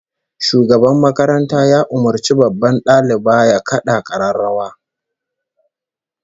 Shugaban makaranta ya umurci babban daliba ya kada kararrawa